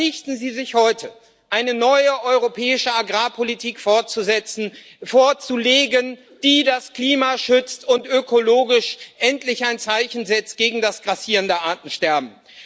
Verpflichten Sie sich heute, eine neue europäische Agrarpolitik vorzulegen, die das Klima schützt und ökologisch endlich ein Zeichen setzt gegen das grassierende Artensterben.